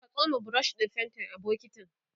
ka tsoma brush ɗin faintin a bokintin